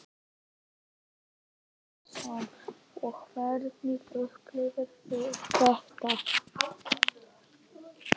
Telma Tómasson: Og hvernig upplifðuð þið þetta?